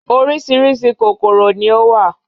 Orísìírísìí kòkòrò ni ó wà